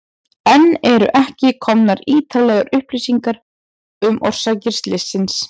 Enn eru ekki komnar ítarlegar upplýsingar um orsakir slyssins.